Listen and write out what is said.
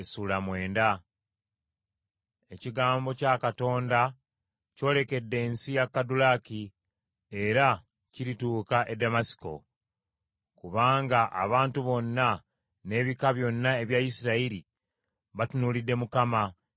Ekigambo kya Katonda kyolekedde ensi ya Kadulaki era kirituuka e Ddamasiko. Kubanga abantu bonna n’ebika byonna ebya Isirayiri batunuulidde Mukama ,